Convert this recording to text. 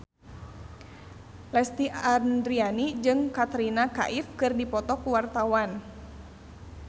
Lesti Andryani jeung Katrina Kaif keur dipoto ku wartawan